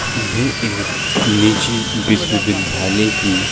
ये एक निजी विश्व विद्यालय की --